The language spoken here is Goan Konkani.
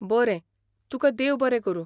बरें ! तुकां देव बरें करूं.